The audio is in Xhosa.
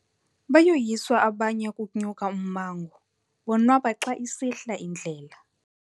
Bayoyiswa abanye ukunya ummango bonwaba xa isihla indlela.